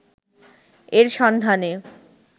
এর সন্ধানে